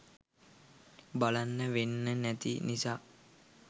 බලන්න වෙන්නේ නැති නිසා